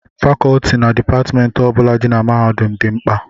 Fakọọti na Dipatmentị ọ bụla dị na mahadum a dị mkpa